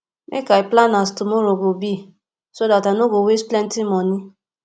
make i plan as tomorrow go be so dat i no go waste plenty moni